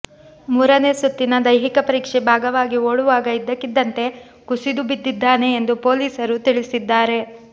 ಮೂರನೇ ಸುತ್ತಿನ ದೈಹಿಕ ಪರೀಕ್ಷೆ ಭಾಗವಾಗಿ ಓಡುವಾಗ ಇದ್ದಕ್ಕಿದ್ದಂತೆ ಕುಸಿದುಬಿದ್ದಿದ್ದಾನೆ ಎಂದು ಪೊಲೀಸರು ತಿಳಿಸಿದ್ದಾರೆ